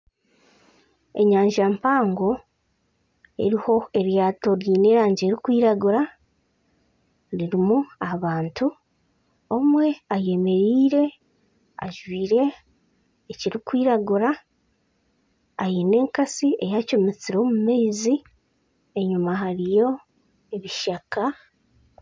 Enyanja mpango eriho eryaato ry'erangi erikwiragura ririmu abantu omwe ayemereire ajwaire ekirikwiragura aine enkatsi eyacumutsire omumaizi enyuma hariyo ebishaka .